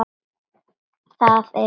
Það er Eva.